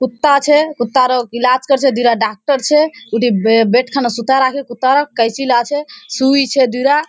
कुत्ता छै कुत्ता आरो के इलाज करे छै दूगो डॉक्टर छै उठे बेड खनी सुता रखी कुत्ता कैंची ला छै सूई छै डोरा।